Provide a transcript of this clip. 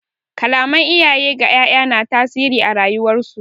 Kalaman iyaye ga 'ya'ya na tasiri a rayuwar su.